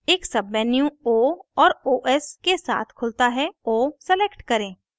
एक submenu o और os के साथ खुलता है o select करें